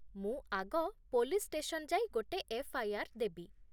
ମୁଁ ଆଗ police station ଯାଇ ଗୋଟେ ଏଫ୍.ଆଇ.ଆର୍. ଦେବି ।